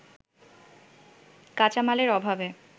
কাঁচামালের অভাবে